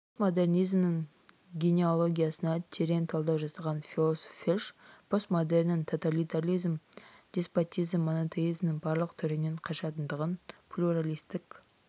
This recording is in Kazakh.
постмодернизмнің генеалогиясына терең талдау жасаған философ вельш постмодерннің тоталитаризм деспотизм монотеизмнің барлық түрінен қашатындығын плюралистік